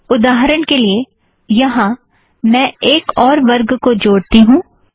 उदाहरण के लिए - यहाँ मैं एक और वर्ग को जोड़ती हूँ